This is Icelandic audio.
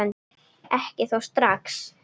Ekki þó strax.